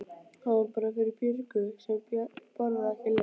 Hann var fyrir Björgu sem borðaði ekki lauk.